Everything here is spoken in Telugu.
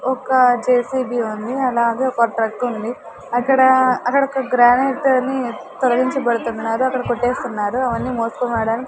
ఒక జె_సి_బి ఉంది అలాగే ఒక ఉంది అక్కడ అక్కడొక గ్రానైట్ అని తొలగించబడుతున్నాది అక్కడ కొట్టేస్తున్నారు అవన్నీ మోసుకొని పోవడానికి--